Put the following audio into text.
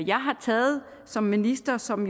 jeg har taget som minister som